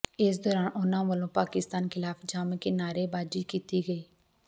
ਇਸ ਦੌਰਾਨ ਉਨ੍ਹਾਂ ਵਲੋਂ ਪਾਕਿਸਤਾਨ ਖਿਲਾਫ਼ ਜੰਮ ਕੇ ਨਾਅਰੇਬਾਜ਼ੀ ਕੀਤੀ ਗਈ